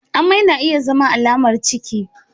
Amai na iya zama alamar ciki.